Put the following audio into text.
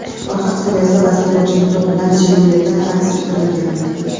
Orqa qismida esa basketbolchining to‘p bilan silueti aks ettirilgan.